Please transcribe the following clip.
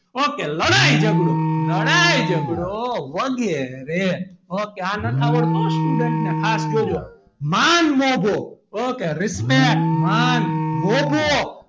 ok લડાઈ ઝઘડો લડાઈ ઝઘડો વગેરે ok આ નથી આવડતું student ને ખાસ જોજો માન મોભો ok respect માન મોભો,